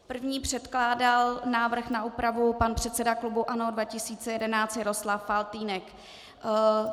První předkládal návrh na úpravu pan předseda klubu ANO 2011 Jaroslav Faltýnek.